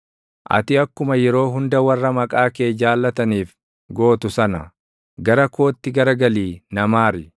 Ati akkuma yeroo hunda warra maqaa kee jaalataniif gootu sana, gara kootti garagalii na maari.